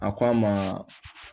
A ko a ma